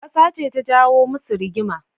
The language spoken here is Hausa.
Kasa ce ta jawo musu rigima.